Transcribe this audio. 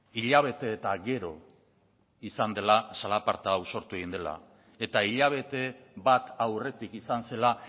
hilabete eta gero izan dela zalaparta hau sortu egin dela eta hilabete bat aurretik izan zela